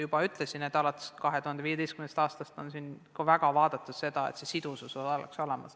Alates 2015. aastast on väga jälgitud seda, et eksisteeriks sidusus koolide vahel.